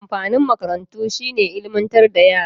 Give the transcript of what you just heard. Amfanin makarantu shi ne ilmantar da yara.